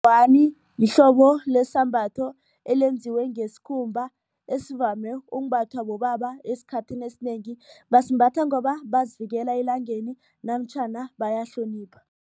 Ingwani lihlobo lesambatho elenziwe ngesikhumba esivame umbathwa bobaba esikhathini esinengi basimbatha ngoba bazivikela elangeni namtjhana bayahlonipha.